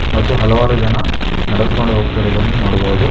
ಮತ್ತು ಹಲವಾರು ಜನ ನಡೆದುಕೊಂಡು ಹೋಗ್ತೀರೊದನ್ನು ನೊಡಬೊದು.